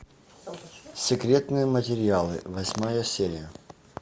секретные материалы восьмая серия